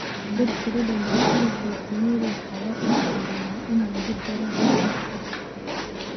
Dhirta dhadhanka sida kotimiri waxaa loo isticmaalaa in lagu daro dhadhan supu.